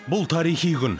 бұл тарихи күн